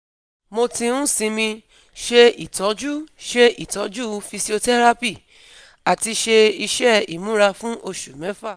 Mo ti ń sinmi, ṣe itọju ṣe itọju physiotherapy, àti ṣe iṣẹ́ ìmúra fún oṣù mẹ́fà